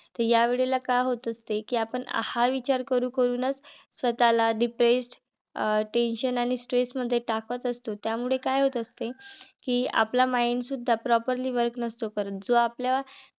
या वेळेला काय होत असते? कि आपण हा विचार करू करूनच स्वतःला depressed अं tension आणि stress मध्ये टाकत असतो. त्यामुळे काय होत असते? कि आपलं mind सुद्धा properly work नसतो करत. जो आपला